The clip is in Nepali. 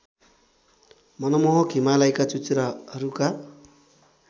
मनमोहक हिमालयका चुचुराहरूका